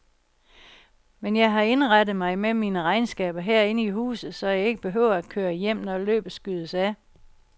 Men jeg har indrettet mig med mine regnskaber herinde i huset, så jeg ikke behøver at køre hjem, når løbet skydes af.